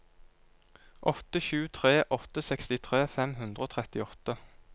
åtte sju tre åtte sekstitre fem hundre og trettiåtte